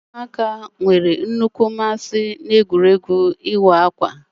Ụmụaka nwere nnukwu mmasị n'egwuregwu ịwọ akwa ha gwuru n'oge ezumike.